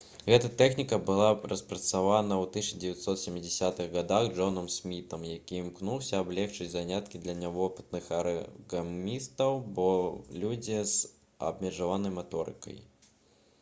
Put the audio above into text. гэта тэхніка была распрацавана ў 1970-х гадах джонам смітам які імкнуўся аблягчыць заняткі для нявопытных арыгамістаў або людзей з абмежаванай маторыкай